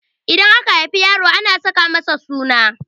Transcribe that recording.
Idan aka haifi yaro ana saka masa suna